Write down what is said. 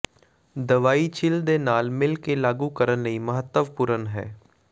ਦਵਾਈ ਛਿੱਲ ਦੇ ਨਾਲ ਮਿਲ ਕੇ ਲਾਗੂ ਕਰਨ ਲਈ ਮਹੱਤਵਪੂਰਨ ਹੈ